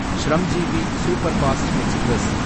Shramjeevi superfast express